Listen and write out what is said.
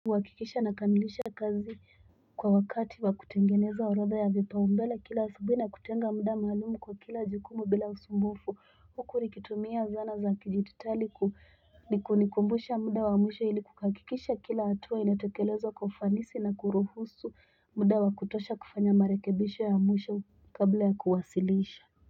Wakikisha na kamilisha kazi kwa wakati wa kutengeneza orada ya vipaumbela kila usubui na kutenga muda malumu kwa kila jukumu bila usumbufu. Hukuri kitumia zana za kijitutali, nikumbusha mudawa amusha iliku kakikisha kila atuwa inatekelezo kofanisi na kurohusu mudawa kutosha kufanya marekibisha ya amusha kabla ya kuwasiliisha.